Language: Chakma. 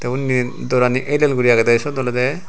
tey onde dorani el el guri agey da seyot oloda.